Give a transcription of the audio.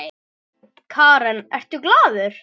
Karen: Ertu glaður?